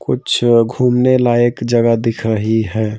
कुछ घूमने लायक जगह दिख रही है।